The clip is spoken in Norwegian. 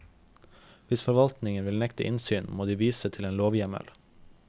Hvis forvaltningen vil nekte innsyn, må de vise til en lovhjemmel.